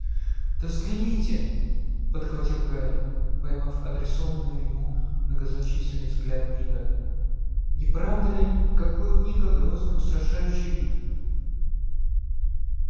да взгляните подхватил гарри поймав адресованный ему многозначительный взгляд ника не правда ли какой у ника грозный устрашающий вид